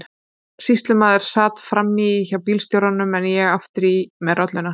Sýslumaður sat fram í hjá bílstjóranum en ég aftur í með rolluna.